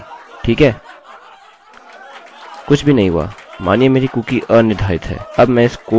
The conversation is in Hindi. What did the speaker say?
कुछ भी नहीं हुआ मानिए मेरी कुकीcookie अनिर्धारित है